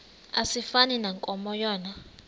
asifani nankomo yona